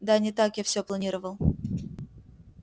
да не так я всё планировал